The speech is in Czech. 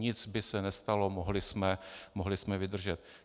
Nic by se nestalo, mohli jsme vydržet.